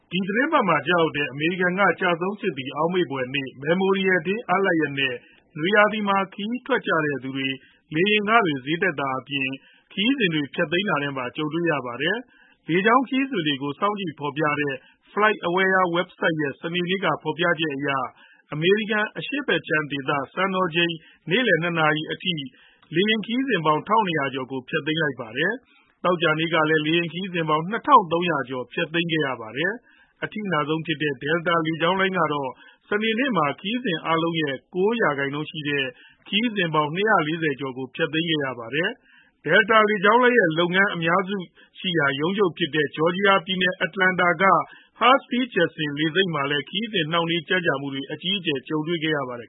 ဒီသီတင်းပတ်မှာ ကျရောက်တဲ့ အမေရိကန်က ကျဆုံးစစ်သည် အောက်မေ့ဖွယ်နေ့ Memorial Day အားလပ်ရက်နဲ့ နွေရာသီမှာ ခရီးထွက်ကြတဲ့သူတွေ လေယာဉ်ခတွေ ဈေးတက်တာအပြင်၊ ခရီးစဉ်တွေ ဖျက်သိမ်းတာနဲ့ပါ ကြုံနေရပါတယ်။ လေကြောင်းခရီးစဉ်တွေကို စောင့်ကြည့်ဖော်ပြနေတဲ့ FlightAware Website ရဲ့ စနေနေ့က ဖော်ပြချက်အရ အမေရိကန် အရှေ့ဖက်ခြမ်းဒေသ စံတော်ချိန်နေ့လည် ၂ နာရီအထိ လေယာဉ်ခရီးစဉ်ပေါင်း ၁,၂ဝဝ ကျော်ကို ဖျက်သိမ်းထားပါတယ်။ သောကြာနေ့ကလည်း လေယာဉ်ခရီးစဉ်ပေါင်း ၂,၃ဝဝ ကျော်ကို ဖျက်ခဲ့ရပါတယ်။ အထိအနာဆုံးဖြစ်တဲ့ Delta လေကြောင်းလိုင်းကတော့ စနေနေ့မှာ ခရီးစဉ်အားလုံးရဲ့ ၉ ရာခိုင်နှုန်းရှိတဲ့၊ ခရီးစဉ်ပေါင်း ၂၄ဝ ကျော်ကို ဖျက်ခဲ့ရတာပါ။ Delta လေကြောင်းလိုင်းရဲ့ လုပ်ငန်းတွေ အများစုရှိရာလည်းဖြစ် ရုံးချုပ်ရှိရာနေရာလည်းဖြစ်တဲ့ Georgia ပြည်နယ်၊ Atlanta မြို့က Hartsfield-Jackson နိုင်ငံတကာလေဆိပ်မှာလည်း ခရီးစဉ်နှောင့်နှေးကြန့်ကြာမှုတွေနဲ့ အကြီးအကျယ် ကြုံခဲ့ရပါတယ်။